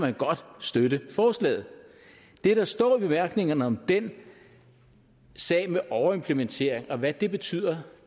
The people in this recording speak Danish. støtte forslaget det der står i bemærkningerne om den sag med overimplementering og hvad det betyder